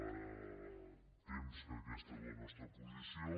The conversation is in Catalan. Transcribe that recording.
fa temps que aquesta és la nostra posició